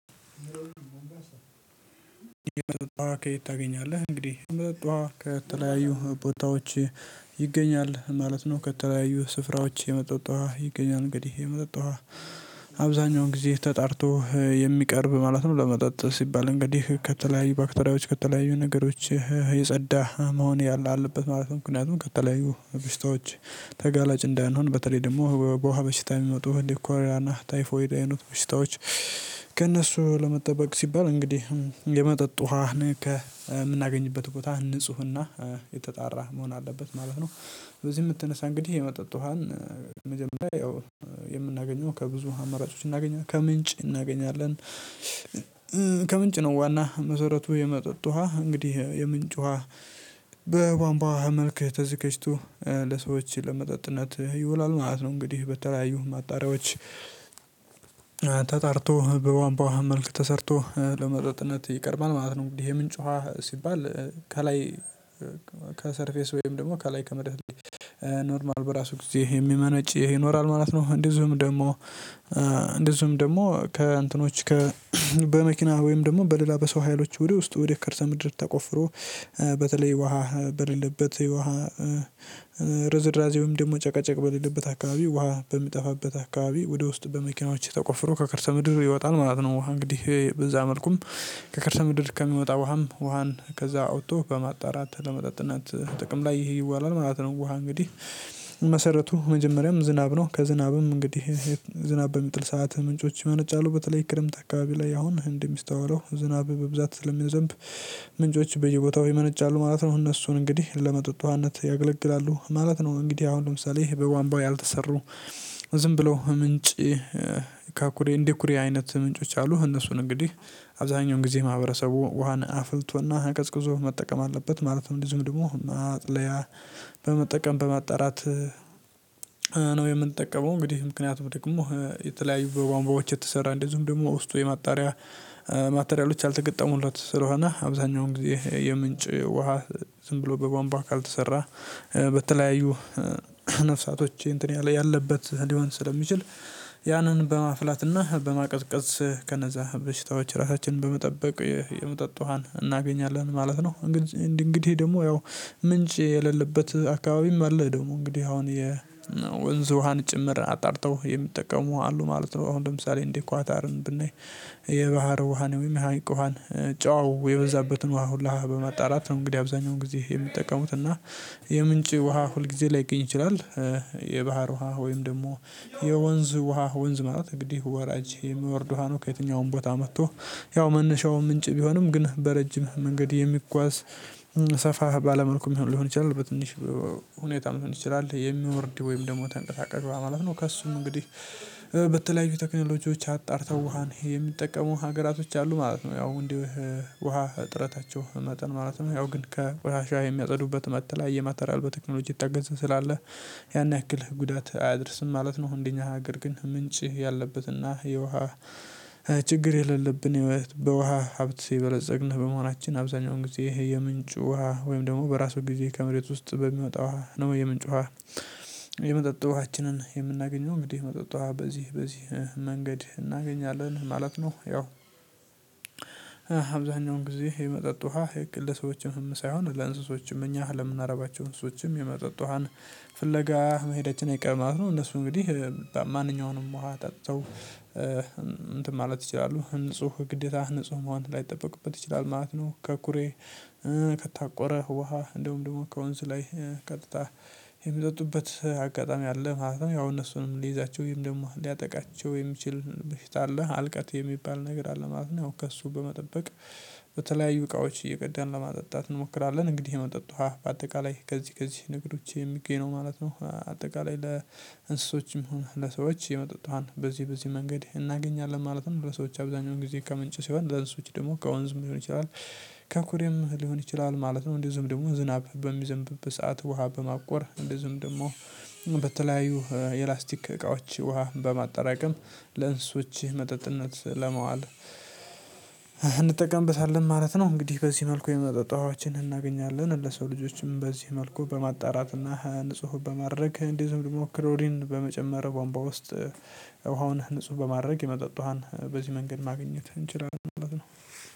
ከየት ታገኛለህ እንግዲህ የመጥዕጥ ከተለያዩ ቦታዎች ይገኛል ማለት ነው። ከተለያዩ ስፍራዎች የመጥዕጥ ውሃ ይገኛል እንግዲህ የመጥዕጥ ዉሃ። ጊዜ ተጣርቶ የሚቀርብ ማለት ነው ለመጠጥ ሲባል እንግዲህ ከተለያዩ ባክተሪያዎች ከተለያዩ ነገሮች የጸዳ መሆን ያለ አለበትማለት ነው። ምክንያቱም ከተለያዩ በሽታዎች ተጋላጭ እንዳንሆን በተለይ ደግሞ በውሃ በሽታ የሚመጡ ሊኮሪያና ታይፎይድ አይኑት በሽታዎች ከእነሱ ለመጠበቅ ሲባል እንግዲህ። የመጠጥ ውሃን ከምናገኝበት ቦታ ንፁህና የተጣራ መሆን አለበት ማለት ነው። በዚህ የምትነሳ እንግዲህ የመጠጥ ውሃን መጀመሪያ የምናገኘው ከብዙ አማራጮች እናገኛለን ከምንጭ እናገኛለን። ከምንጭ ነው ዋና መሰረቱ የመጠጥ ውሃ እንግዲህ የምንጭ ውሃ። በቧንቧ መልክ ተዘጋጅቶ ለሰዎች ለመጠጥነት ይውላል ማለት ነው እንግዲህ በተለያዩ ማጣሪያዎች። ተጣርቶ በቧንቧዉሃ መልክ ተሰርቶ ለመጥዕጥነት ይቀርባል ማለት ነው። እንግዲህ ምንጭ ዉሃ ሲባል ከላይ ከሰርፌስ ወይም ደግሞ ከላይ ከመደብ ኖርማል በራሱ ጊዜ ይሄ የሚመነጭ ይሄ ይኖራል ማለት ነው። እንደዚሁም ደግሞ እንደዚሁም ደግሞ ከእንትኖች ከ በመኪና ወይም ደግሞ በሌላ በሰው ሀይሎች ወደ ውስጥ ወደ ከርሰ ምድር ተቆፍሮ። በተለይ ውሃ በሌለበት ውሃ ርዝራዜውም ደግሞ ጨቀጨቅ በሌለበት አካባቢ ውሃ በምጠፋበት አካባቢ ወደ ውስጥ በመኪናዎች ተቆፍሮ ከከርሰ ምድር ይወጣል ማለት ነው። ውሃ እንግዲህ በዛ መልኩም ከከርሰ ምድር ከሚወጣ ውሃም ውሃን ከዛ አውጥቶ በማጣራት ለመጣጥነት ጥቅም ላይ ይሄ ይዋላል ማለት ነው። ውሃ እንግዲህ መሰረቱ መጀመሪያም ዝናብ ነው ከዝናብም እንግዲህ ዝናብ በሚጥል ሰዓት ምንጮች ይመርጫሉ በተለይ ክረምት አካባቢ ላይ አሁን እንደሚስተዋለው ዝናብ በብዛት ስለሚያዘንብ ምንጮች በየቦታው ይመነጫሉ ማለት ነው። እነሱን እንግዲህ ለመተት ውሃነት ያገለግላሉ ማለት ነው። እንግዲህ አሁን ለምሳሌ በቧንባው ያልተሰሩ ዝም ብለው ምንጭ ከኩሬ እንደኩሬ አይነት ምንጮች አሉ። እነሱን እንግዲህ አብዛኛውን ጊዜ ማህበረሰቡ ውሃን አፍልቶና አቀዝቅዞ መጠቀም አለበት። ማለትም እንደዚሁም ደግሞ ማጥለያ በመጠቀም በማጣራት። የምንጠቀመው እንግዲህ ምክንያቱም ደግሞ የተለያዩ በቧንቧዎች የተሰራ እንደ ዝም ደግሞ ውስጡ የማጣሪያ ማቴሪያሎች ያልተገጠሙለት ስለሆነ አብዛኛውን ጊዜ የምንጭ ውሃ። ዝም ብሎ በቧንቧ ካልተሰራ በተለያዩ ነፍሳቶቼ እንትን ያለ ያለበት ሊሆን ስለሚችል ያንን በማፍላትና በማቀጥቀዝ ከነዛ በሽታዎች ራሳችንን በመጠበቅ የመጠጥ ውሃን እናገኛለን ማለት ነው። እንግዲህ ደግሞ ያው ምንጭ የሌለበት አካባቢም አለ ደግሞ እንግዲህ አሁን የ ወንዝ ውሃን ጭምር አጣርተው የሚጠቀሙ አሉ ማለት ነው። አሁን ለምሳሌ እንዴ ኳታርን ብናይ የባህር ውሃ ወይም የሀይቅ ውሃን ጨዋው የበዛበትን ውሃ ሁላ በማጣራት ነው እንግዲህ አብዛኛውን ጊዜ የምትጠቀሙት እና የምንጭ ውሃ ሁል ጊዜ ላይገኝ ይችላል። የባህር ውሃ ወይም ደግሞ የወንዝ ውሃ ወንዝ ማለት እንግዲህ ወራጅ የሚወርዱ ውሃ ነው ከየትኛውም ቦታ መጥቶ ያው መነሻው ምንጭ ቢሆንም ግን በረጅም መንገድ የሚጓዝ ሰፋ ባለመልኩ ሊሆን ይችላል በትንሽ ሁኔታ ሊሆን ይችላል የሚወርድ ወይም ደግሞ ተንቀሳቀሱ ማለት ነው። ከእሱም እንግዲህ በተለያዩ ቴክኖሎጂዎች አጣርተው ውሃን የሚጠቀሙ ሀገራቶች አሉ ማለት ነው። ያው እንዴ ውሃ እጥረታቸው መጠን ማለት ነው ያው ግን ቆሽሽዐ ከየሚያጸዱበት መበተለያየ ማቴራል በቴክኖሎጂ የታገገዘ ስላለ ያን ያክል ጉዳት አያደርስም ማለት ነው። እንዴ እኛ ሀገር ግን ምንጭ ያለበትና የውሃ ችግር የሌለብን ህይወት በውሃ ሀብት ሲበለፀግን በመሆናችን አብዛኛውን ጊዜ የምንጩ ውሃ ወይም ደግሞ በራሱ ጊዜ ከመሬት ውስጥ በሚወጣው የምንጭ ውሃ የመጥዐጥ ውሃችንን የምናገኘው እንግዲህ መጠጣት በዚህ በዚህ መንገድ እናገኛለን ማለት ነው። ያው አብዛኛውን ጊዜ የመጠጥ ውሃ ልክ እንደ ለሰዎችም ሳይሆን ለእንስሶችም እኛ ለምናረባቸው እንስሶችም የመጠጥ ውሃን ፍለጋ መሄዳችን አይቀርም ማለት ነው። እነሱ እንግዲህ ማንኛውንም ዉሃ ጠጥተው እንትን ማለት ይችላሉ ንጹህ ግዴታ ንጹህ መሆን ላይጠበቅበት ይችላል ማለት ነው። ከኩሬ ከታቆረ ውሃ እንደውም ደግሞ ከወንዝ ላይ ቀጥታ የሚጠጡበት አጋጣሚ አለ ማለት ነው። ያው እነሱንም ሊይዛቸው ወይም ደግሞ ሊያጠቃቸው የሚችል በሽታ አለ አልቀት የሚባል ነገር አለ ማለት ነው። ከእሱ በመጠበቅ በተለያዩ እቃዎች እየቀዳን ለማጠጣት እንሞክራለን እንግዲህ የመጠጥ ውሃ በአጠቃላይ ከዚህ ከዚህ ነገሮች የሚገኘው ማለት ነው። አጠቃላይ ለእንስሶችም ሆነ ለሰዎች የመጠጥ ዉህን በዚህ በዚህ መንገድ እናገኛለን ማለትም ሰዎች አብዛኛውን ጊዜ ከምንጭ ሲሆን ለእነሱ ውጪ ደግሞ ከወንዝም ሊሆን ይችላል። ከኩሬም ሊሆን ይችላል ማለት ነው። እንደ ዝም ደግሞ ዝናብ በሚዘንብበት ሰዓት ውሃ በማቆር እንደዚህም ደግሞ በተለያዩ የላስቲክ እቃዎች ውሃ በማጠራቀም ለእንስሶች መጠጥነት ለመዋል እንጠቀምበታለን ማለት ነው። እንግዲህ በዚህ መልኩ የመጥዕጥ ዉሃዎችን እናገኛለን ለሰው ልጆችም በዚህ መልኩ በማጣራትና ንጹህ በማድረግ እንደዞሁም ደግሞ ክሮሊን በመጨመር ቧምቧ ውስጥ ዉሃዉን ንጹህ በማድረግ የመጠጥ ውሃን በዚህ መንገድ ማግኘት እንችላለን።